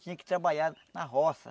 Tinha que trabalhar na roça.